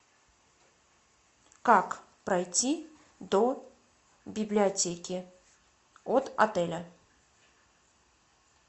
как пройти до библиотеки от отеля